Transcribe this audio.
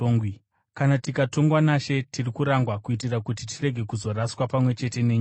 Kana tikatongwa naShe, tiri kurangwa kuitira kuti tirege kuzoraswa pamwe chete nenyika.